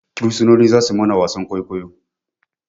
Bursunoni za suyi mana wasan kwaikwayo